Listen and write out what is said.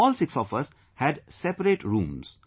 All six of us had separate rooms